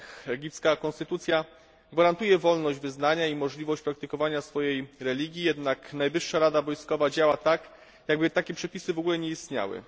Egipska konstytucja gwarantuje wolność wyznania i możliwość praktykowania swojej religii, jednak Najwyższa Rada Wojskowa działa tak, jakby takie przepisy nie istniały.